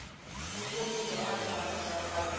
vutomi byo antswa bya vanhu